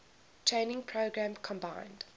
training program combined